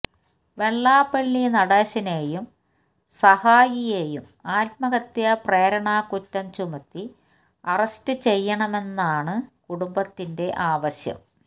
വെള്ളാപ്പള്ളി നടേശനെയും സഹായിയെയും ആത്മഹത്യാ പ്രേരണാകുറ്റം ചുമത്തി അറസ്റ്റ് ചെയ്യണമെന്നാണ് കുടുംബത്തിന്റെ ആവശ്യം